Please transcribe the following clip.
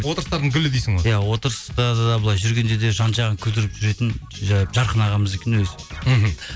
отырыстардың гүлі дейсің ғой иә отырыста да былай жүргенде де жан жағын күлдіріп жүретін жарқын ағамыз екен өзі мхм